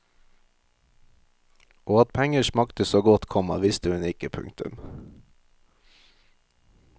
Og at penger smakte så godt, komma visste hun ikke. punktum